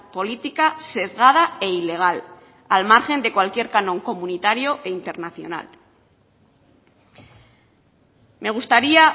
política sesgada e ilegal al margen de cualquier canon comunitario e internacional me gustaría